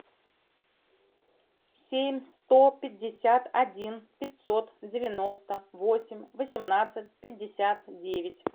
семь сто пятьдесят один пятьсот девяносто восемь восемнадцать пятьдесят девять